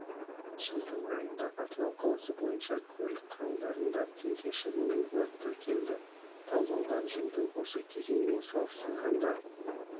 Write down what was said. жылдың айында атырау қаласы бойынша көлік құралдарында теңге шығынымен өрт тіркелді талдаудан жылдың осы кезеңімен салыстырғанда